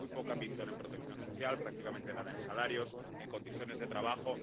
Hay muy poca ambición en protección social, prácticamente nada en salarios o en condiciones de trabajo.